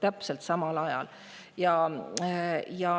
Just sel ajal.